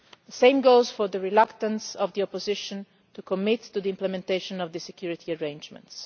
The same goes for the reluctance of the opposition to commit to the implementation of the security arrangements.